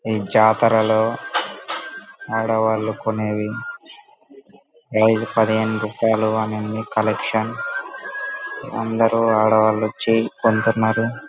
ఈ జాతరలో ఆడవాళ్ళు కొనేవి. ఐదు పదిహేను రూపాయల అనేని కలెక్షన్ అందరూ ఆడవాళ్ళు వచ్చి కొంటున్నారు.